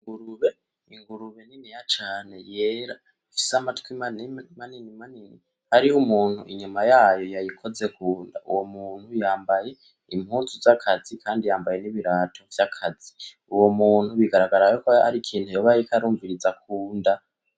Ingurube niniya cane ifise amatwi manini , hariho umuntu inyuma yayo yayikozeko , uwo muntu yambaye impuzu z'akazi kandi yambaye n'ibirato vyakazi, uwo muntu bigaragara yuko harikintu yoba ariko arumviriza kunda.